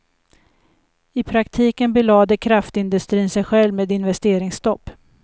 I praktiken belade kraftindustrin sig själv med investeringsstopp.